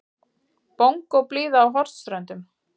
Bongóblíða á Hornströndum.